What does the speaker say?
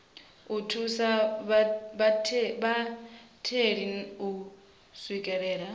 u thusa vhatheli u swikelela